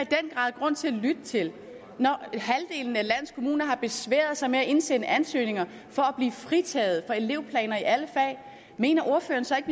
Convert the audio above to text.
grad grund til at lytte til når halvdelen af landets kommuner har besværet sig med at indsende ansøgninger for at blive fritaget for elevplaner i alle fag mener ordføreren så ikke